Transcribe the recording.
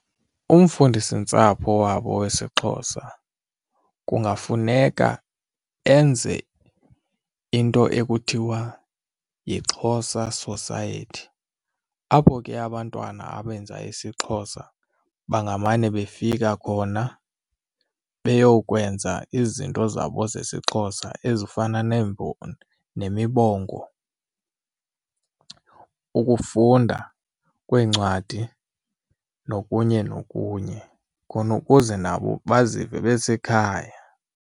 Umfundisintsapho wabo wesiXhosa kungafuneka enze into ekuthiwa yi-Xhosa Society apho ke abantwana abenza isiXhosa bangamane befika khona beyokwenza izinto zabo zesiXhosa ezifana nemibongo, ukufunda kweencwadi nokunye nokunye khona ukuze nabo bazive besekhaya.